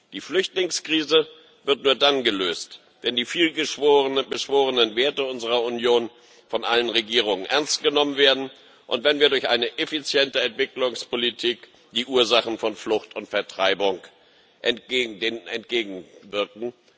Die Flüchtlingskrise wird nur dann gelöst, wenn die viel beschworenen Werte unserer Union von allen Regierungen ernst genommen werden und wenn wir durch eine effiziente Entwicklungspolitik den Ursachen von Flucht und Vertreibung entgegenwirken.